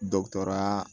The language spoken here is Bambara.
Dɔkitɛr